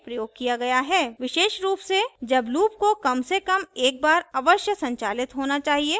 विशेष loop से जब loop को कम से कम एक बार अवश्य संचालित होना चाहिए